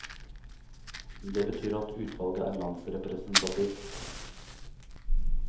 Det betyr at utvalget er landsrepresentativt.